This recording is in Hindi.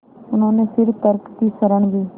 उन्होंने फिर तर्क की शरण ली